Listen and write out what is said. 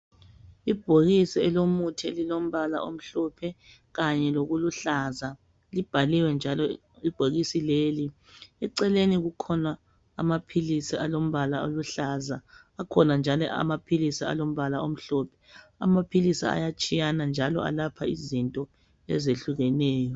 Ibhokisi elomuthi elilombala omhlophe kanye lokuluhlaza libhaliwe njalo ibhokisi leli. Eceleni kukhona amaphilisi alombala oluhlaza , akhona njalo amaphilisi alombala omhlophe. Amaphilisi ayatshiyana njalo alapha izinto ezehlukeneyo.